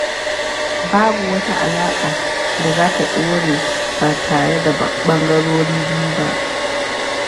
Babu wata alaƙa da za ta ɗore ba tare da ɓangarorin biyu ba.